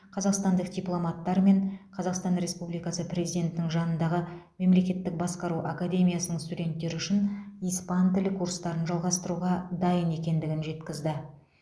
қазақстандық дипломаттар мен қазақстандық республикасы президентінің жанындағы мемлекеттік басқару академиясының студенттері үшін испан тілі курстарын жалғастыруға дайын екендігін жеткізді